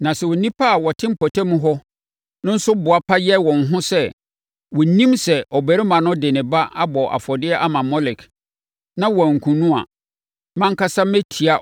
Na sɛ nnipa a wɔte mpɔtam hɔ no nso boapa yɛ wɔn ho sɛ wɔnnim sɛ ɔbarima no de ne ba abɔ afɔdeɛ ama Molek na wɔankum no a, mʼankasa mɛtia